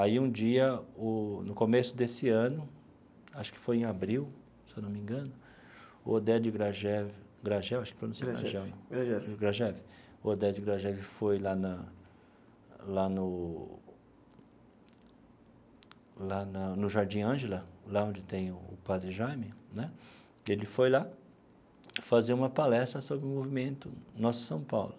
Aí, um dia o, no começo desse ano, acho que foi em abril, se não me engano, o Oded Grajew Grajel acho que pronuncia o nome Grajel. Grajew. Grajew, o Oded Grajew foi lá na lá no lá na no Jardim Ângela, lá onde tem o Padre Jaime né, e ele foi lá fazer uma palestra sobre o movimento Nossa São Paulo.